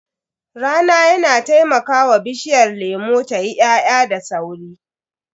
Rana yana taimakawa bishiyar lemu tayi ya'ya da sauri.